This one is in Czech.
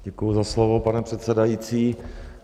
Děkuji za slovo, pane předsedající.